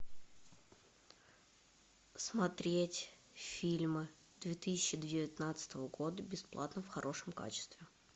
смотреть фильмы две тысячи девятнадцатого года бесплатно в хорошем качестве